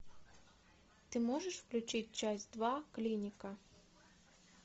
ты можешь включить часть два клиника